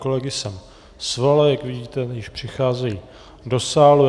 Kolegy jsem svolal, jak vidíte, již přicházejí do sálu.